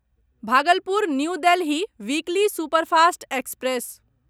Bhagalpur new Delhi weekly superfast express